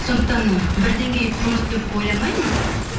сондықтан бір деңгейде тұрмыз деп ойламаймын